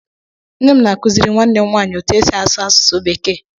Nne m na-akụziri nwanne m nwaanyị otú e si asụ asụsụ Bekee.